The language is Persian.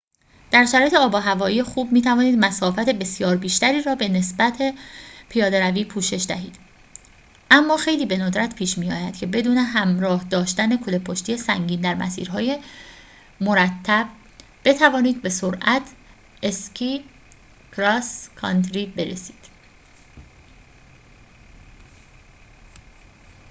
در شرایط آب‌وهوایی خوب می‌توانید مسافت بسیار بیشتری را به نسبت پیاده‌روی پوشش دهید اما خیلی به ندرت پیش می‌آید که بدون همراه داشتن کوله‌پشتی سنگین در مسیرهای مرتب بتوانید به سرعت اسکی کراس کانتری برسید